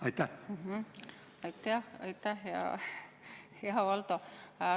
Aitäh-aitäh, hea Valdo!